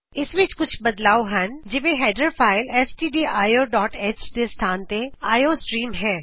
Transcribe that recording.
ਇਸ ਵਿਚ ਕੁਝ ਬਦੱਲਾਵ ਹਨ ਜਿਵੇ header file S T D I O dot H stdioਹ ਦੇ ਸਥਾਨ ਤੇ ਆਈ ਓ ਸਟ੍ਰੀਮ ਹੈ